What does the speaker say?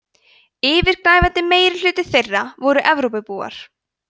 yfirgnæfandi meirihluti þeirra voru evrópubúar